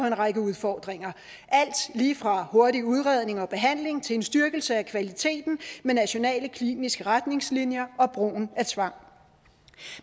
en række udfordringer alt lige fra hurtig udredning og behandling til en styrkelse af kvaliteten med nationale kliniske retningslinjer og brugen af tvang